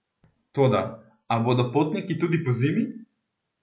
Toda, a bodo potniki tudi pozimi?